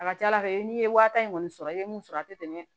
A ka ca ala fɛ n'i ye wa tan kɔni sɔrɔ i bɛ mun sɔrɔ a tɛ tɛmɛ